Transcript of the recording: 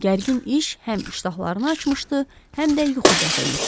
Gərgin iş həm iştahlarını açmışdı, həm də yuxu gətirmişdi.